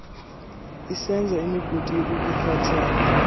isenza imigudu yokukuphathela